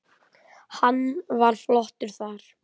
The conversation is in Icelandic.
Hann var flottur þar!